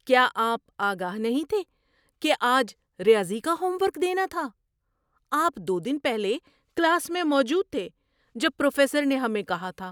کیا آپ آگاہ نہیں تھے کہ آج ریاضی کا ہوم ورک دینا تھا؟ آپ دو دن پہلے کلاس میں موجود تھے جب پروفیسر نے ہمیں کہا تھا۔